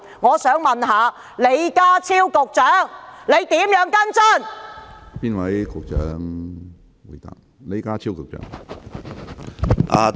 我想問李家超局長會如何跟進？